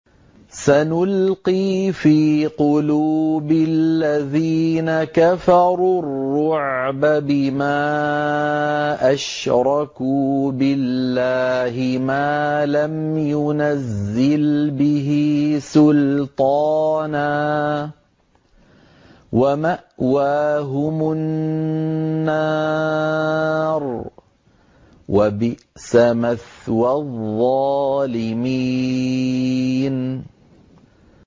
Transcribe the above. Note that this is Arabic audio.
سَنُلْقِي فِي قُلُوبِ الَّذِينَ كَفَرُوا الرُّعْبَ بِمَا أَشْرَكُوا بِاللَّهِ مَا لَمْ يُنَزِّلْ بِهِ سُلْطَانًا ۖ وَمَأْوَاهُمُ النَّارُ ۚ وَبِئْسَ مَثْوَى الظَّالِمِينَ